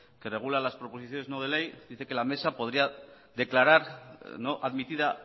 que regula las proposiciones no de ley dice que la mesa podría declarar no admitida